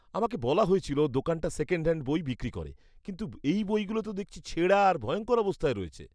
আমাকে বলা হয়েছিল দোকানটা সেকেন্ডহ্যান্ড বই বিক্রি করে, কিন্তু এই বইগুলো তো ছেঁড়া আর ভয়ঙ্কর অবস্থায় রয়েছে!